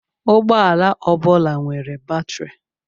Ụgbọala ọ bụla nwere batrị.